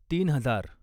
तीन हजार